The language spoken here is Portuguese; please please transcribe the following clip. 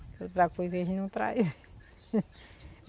As outras coisas eles não traz.